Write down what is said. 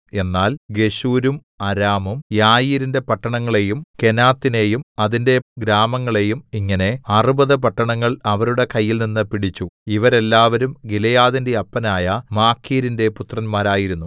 എന്നാൽ ഗെശൂരും അരാമും യായീരിന്റെ പട്ടണങ്ങളെയും കെനാത്തിനെയും അതിന്റെ ഗ്രാമങ്ങളെയും ഇങ്ങനെ അറുപത് പട്ടണങ്ങൾ അവരുടെ കയ്യിൽനിന്ന് പിടിച്ചു ഇവരെല്ലാവരും ഗിലെയാദിന്റെ അപ്പനായ മാഖീരിന്റെ പുത്രന്മാരായിരുന്നു